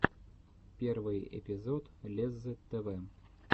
первый эпизод леззы тв